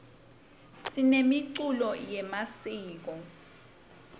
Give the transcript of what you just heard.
simemkulo yemasiko